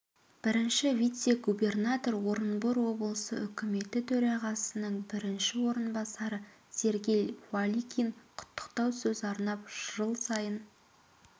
бірінші вице-губернатор орынбор облысы үкіметі төрағасының бірінші орынбасары сергей балыкин құттықтау сөз арнап жыл сайын